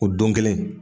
O don kelen